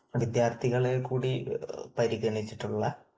വിദ്യാർഥികളെ കൂടി പരിഗണിച്ചിട്ടുള്ള